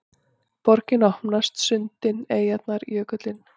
Borgin opnast: sundin, eyjarnar, jökullinn